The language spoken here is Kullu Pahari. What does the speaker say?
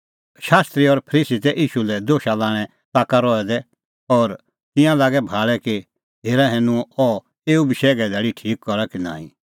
शास्त्री और फरीसी तै ईशू लै दोशा लाणें ताका रहै दै और तिंयां लागै भाल़ै कि हेरा हैनूं अह एऊ बशैघे धैल़ी ठीक करा कि नांईं